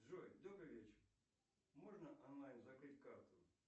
джой добрый вечер можно онлайн закрыть карту